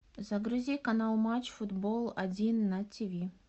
загрузи канал матч футбол один на тиви